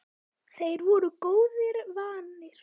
Þeir voru góðu vanir.